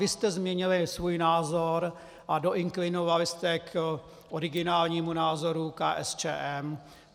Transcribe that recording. Vy jste změnili svůj názor a doinklinovali jste k originálnímu názoru KSČM.